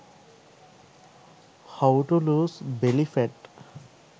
how to lose belly fat